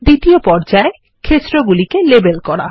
দ্বিতীয়পর্যায়160ক্ষেত্রগুলিকে label করা